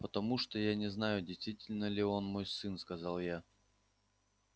потому что я не знаю действительно ли он мой сын сказал я